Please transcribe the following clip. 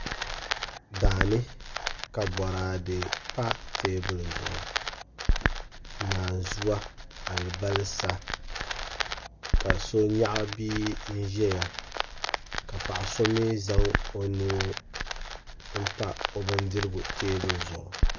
daani ka boraade pa teebuli zuɣu naanzuwa alibalisa ka so nyaɣi bia n-zaya ka paɣ' so mi zaŋ o nuu m-pa o bindirigu teebuli zuɣu